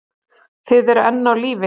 Þið eruð enn á lífi!